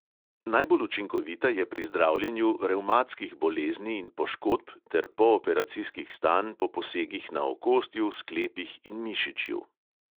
Najbolj učinkovita je pri zdravljenju revmatskih bolezni in poškodb ter pooperacijskih stanj po posegih na okostju, sklepih in mišičju.